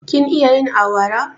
Kin iya yin awara?